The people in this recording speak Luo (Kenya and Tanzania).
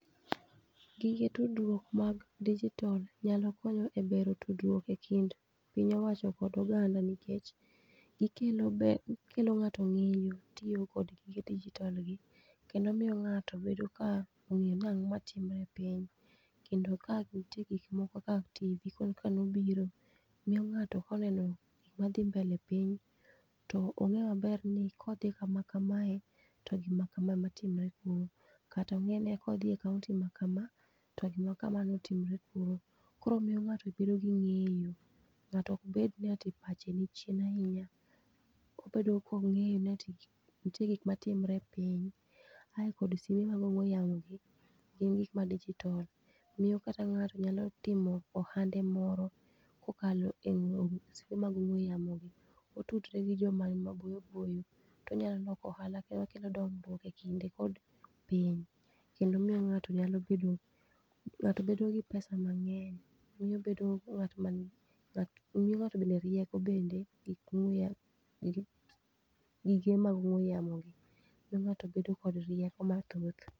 Gige tudruok mag dijitol nyalo konyo e bero tudruok e kind piny owacho kod oganda nikech gikelo be gikelo ng'ato ng'eyo tiyo kod gige dijotol gi. Kendo miyo ng'ato bedo ka ong'eyo ni ang'o ma timre e piny. Kendo ka nitie gik moko ka TV koro ka nobiro miyo ng'ato koneno gik madhi mbele e piny, to ong'e maber ni kodhi kama kamae, to gima kama ema timre kuro. Kata ong'e ni kodhi e kaonti ma kama to gima kama ema notimre kuro, koro miyo ng'ato bedo gi ng'eyo. Ng'ato ok bed ni ati pache ni chien ahinya, obedo kong'eyo ni nitie gik matimre e piny. Ae kod simbe mag ong'we yamo gi, gin gik ma dijitol, miyo kata ng'ato nyalo timo ohande moro kokalo e ong'we simbe mag ong'we yamo gi. Otudre gi joma ni maboyo boyo, tonya loko ohala kae okelo dondruok e kinde kod piny. Kendo miyo ng'ato nyalo bedo, ng'ato bedo gi pesa mang'eny. Miyo bedo ng'ato, miyo ng'ato bende rieko bende gik ongweya, gige mag ong'we yamo gi miyo ng'ato bedo koda rieko mathoth.